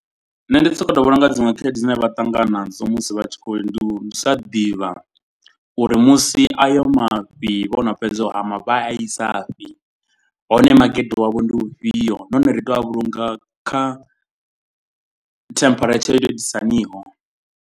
Nṋe ndi sokoto vhona unga dziṅwe khaedu dzine vha ṱangana nadzo musi vha tshi khou. Ndi u sa ḓivha uri musi ayo mafhi vho no fhedza u hama vha a i sa fhi. Hone makete wavho ndi u fhio nahone ri tea u a vhulunga kha temperature yo to itisa haniho.